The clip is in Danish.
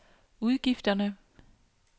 udgifterne